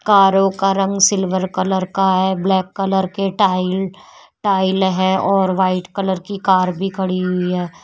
कारों का रंग सिल्वर कलर का है। ब्लैक कलर के टाइल टाइल हैं और व्हाइट कलर की कार भी खड़ी हुई है।